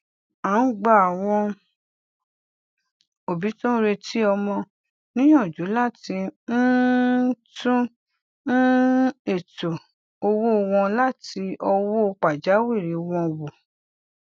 a ń gba àwọn òbí tó ń retí ọmọ níyànjú láti um tún um ètò owó wọn àti owó pajawìrì wọn wo